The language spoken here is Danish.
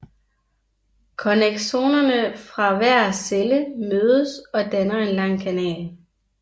Connexonerne fra hver celle mødes og danner en lang kanal